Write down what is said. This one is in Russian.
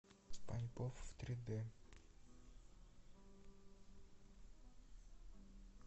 спанч боб в три дэ